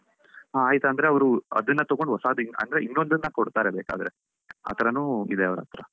ಹಾ ಆಯ್ತಂದ್ರೆ ಅವರು ಅದನ್ನು ತಗೊಂಡು ಹೊಸಾದು ಅ~ ಅಂದ್ರೆ ಇನ್ನೊಂದನ್ನ ಕೊಡ್ತಾರೆ ಬೇಕಾದ್ರೆ ಆ ತರನೂ ಇದೆ ಅವರತ್ರ.